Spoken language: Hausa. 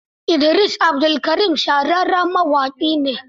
Idris Abdulkarim shahararren mawaƙi ne.